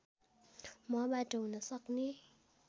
मबाट हुन सक्ने